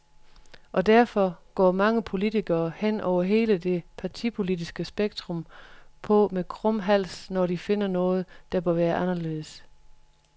Og derfor går mange politikere, hen over hele det partipolitiske spektrum, på med krum hals, når de finder noget, der bør være anderledes.